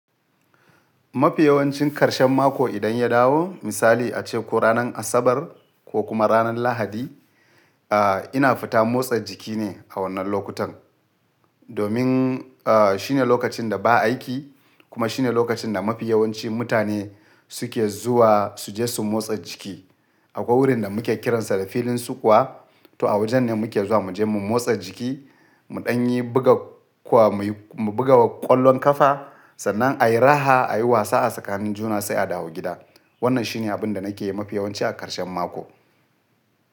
Mafi yawancin karshen mako idan ya dawo misali ace ko ranar Asabar ko kuma ranar Lahadi, a ina fita motsa jiki ne a wannan lokutan. Domin a shine lokacin da ba aiki kuma shine lokacin da mafi yawancin mutane suke zuwa su je su motsa jiki. Akwai wurin da muke kiransa da filin sukuwa, to a wajen ne muke zuwa mu je mu motsa jiki, mu ɗan yi buga kuwa mu buga ƙwallon ƙafa sannan a yi raha a yi wasa a tsakanin juna sai a dawo gida. Wannan shine abin da nake yi mafi yawanci a ƙarshen mako.